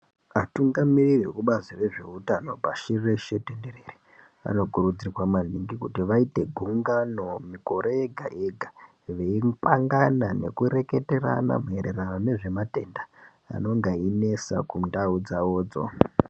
Vatungamiri vebazi rezveutano pashi reshe vanokurudzirwa maningi kuti vaite gungano mugore rega rega veipangana nekureketerana maererano ngezvematenda anonga einesa kundau dzawodzo.